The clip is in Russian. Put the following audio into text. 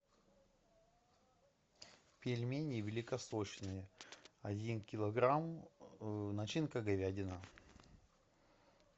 пельмени великосочные один килограмм начинка говядина